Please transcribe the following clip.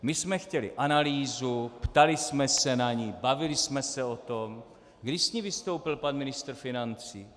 My jsme chtěli analýzu, ptali jsme se na ni, bavili jsme se o tom - kdy s ní vystoupil pan ministr financí?